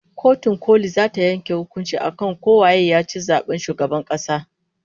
Kotun koli zata yanke hukuncin akan ko waye yaci zaben shugaban kasa